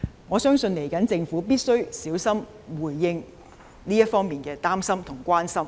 我相信政府必須小心回應這方面的擔憂及關心。